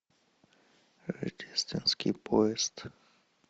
рождественский поезд